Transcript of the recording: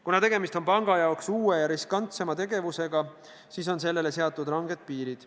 Kuna tegemist on panga jaoks uue ja riskantsema tegevusega, siis on sellele seatud ranged piirid.